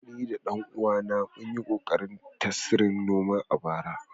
Ni da ɗan uwana mun yi ƙoƙarin tasrin noma ɗaya a bara